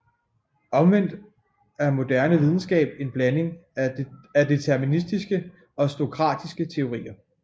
Omvendt er moderne videnskab en blanding af deterministiske og stokastiske teorier